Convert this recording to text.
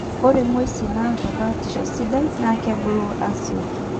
Ore nguesin naata baatisho sidai na kebulu asioki